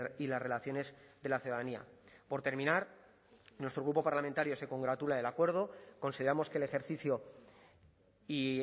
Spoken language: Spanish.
y las relaciones de la ciudadanía por terminar nuestro grupo parlamentario se congratula del acuerdo consideramos que el ejercicio y